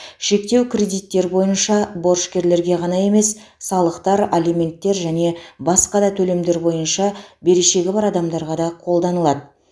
шектеу кредиттер бойынша борышкерлерге ғана емес салықтар алименттер және басқа да төлемдер бойынша берешегі бар адамдарға да қолданылады